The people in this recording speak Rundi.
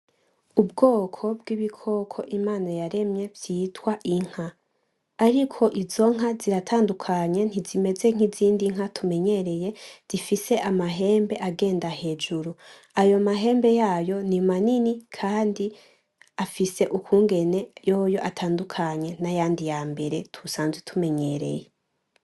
Ubwoko bw'ibikoko Imana yaremye vyitwa inka, ariko izo nka ziratandukanye ntizimeze nk'izindi nka tumenyereye zifise amahembe agenda hejuru, ayo mahembe yayo ni manini kandi afise ukungene yoyo atandukanye nayandi yambere dusanzwe tumenyereye.